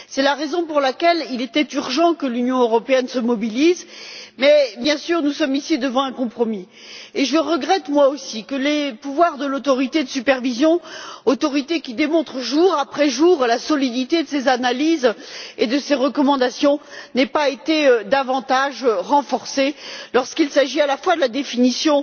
C'est la raison pour laquelle il était urgent que l'Union européenne se mobilise. Mais, bien sûr, nous sommes face à un compromis, et je regrette, moi aussi, que les pouvoirs de l'autorité de supervision autorité qui démontre jour après jour la solidité de ses analyses et de ses recommandations n'aient pas été davantage renforcés pour ce qui est tant de la définition